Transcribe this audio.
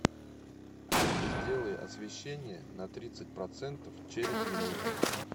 сделай освещение на тридцать процентов через минуту